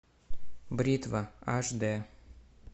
бритва аш д